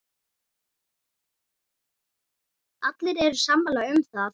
Allir eru sammála um það.